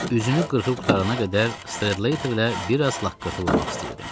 Üzünü qırxıb qurtarana qədər Stradlaterlə bir az laqqırtı vurmaq istəyirdim.